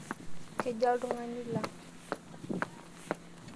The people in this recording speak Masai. Kejaa oltung'ani lang?